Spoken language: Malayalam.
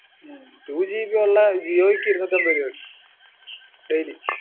ഉം twogb ഉള്ള ജിയോയ്ക്ക് ഇരുന്നൂറ്റിഅമ്പത് രൂപയായി daily ഉം